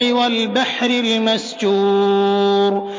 وَالْبَحْرِ الْمَسْجُورِ